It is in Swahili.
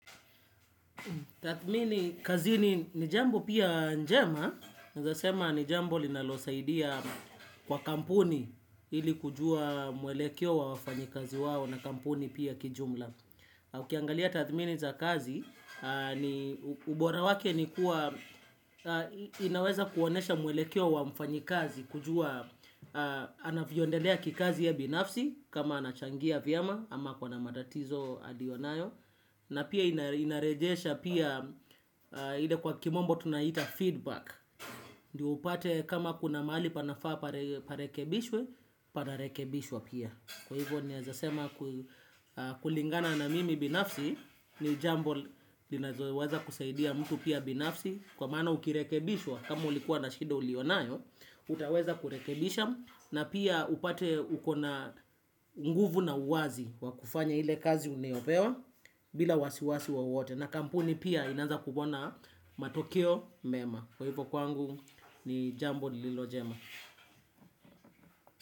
Tathmini kazini ni jambo pia njema, nawezasema ni jambo linalo saidia kwa kampuni ili kujua mwelekeo wa wafanyikazi wao na kampuni pia kijumla. Ukiangalia tathmini za kazi, ubora wake ni kuwa, inaweza kuonyesha mwelekeo wa mfanyikazi kujua, anavyoendelea kikazi ya binafsi kama anachangia vyema ama ako na matatizo aliyonayo. Na pia inarejesha pia ile kwa kimombo tunaiitafeedback. Ndio upate kama kuna mahali panafaa parekebishwe, panarekebishwa pia. Kwa hivyo ni nawezasema kulingana na mimi binafsi. Ni jambo linazoweweza kusaidia mtu pia binafsi. Kwa maana ukirekebishwa, kama ulikuwa na shida uliyonayo utaweza kurekebisha na pia upate uko na nguvu na uwazi wakufanya ile kazi unayopewa bila wasiwasi wowote. Na kampuni pia inaanza kuona matokeo mema. Kwa hivyo kwangu ni jambo lililo jema.